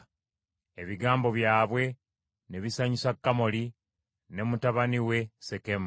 Ebigambo byabwe ne bisanyusa Kamoli ne mutabani we Sekemu.